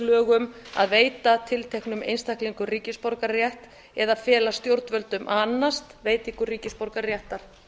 um að veita tilteknum einstaklingum ríkisborgararétt eða fela stjórnvöldum að annast veitingu ríkisborgararéttar